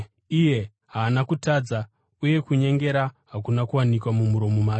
“Haana kutadza, uye kunyengera hakuna kuwanikwa mumuromo make.”